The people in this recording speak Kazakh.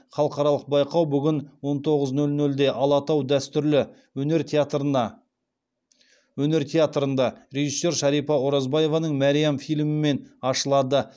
халықаралық байқау бүгін сағат он тоғыз нөл нөлде алатау дәстүрлі өнер театрында режиссер шарипа оразбаеваның мәриам фильмімен ашылады